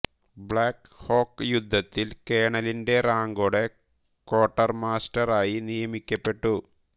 black hawk യുദ്ധത്തിൽ കേണലിന്റെ റാങ്കോടെ ക്വാർട്ടർമാസ്റ്റെർ ആയി നിയമിക്കപ്പെട്ടു